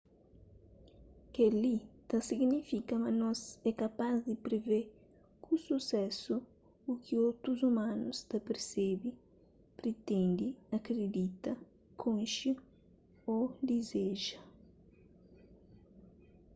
kel-li ta signifika ma nos é kapaz di privê ku susésu u ki otus umanus ta persebe pritende akridita konxe ô dizeja